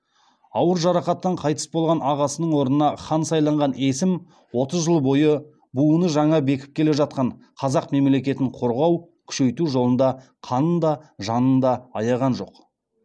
ауыр жарақаттан қайтыс болған ағасының орнына хан сайланған есім отыз жыл бойы буыны жаңа бекіп келе жатқан қазақ мемлекетін қорғау күшейту жолында қанын да жанын да аяған жоқ